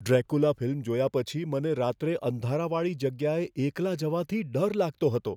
Dracula film જોયા પછી મને રાત્રે અંધારાવાળી જગ્યાએ એકલા જવાથી ડર લાગતો હતો.